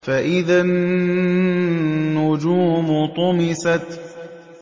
فَإِذَا النُّجُومُ طُمِسَتْ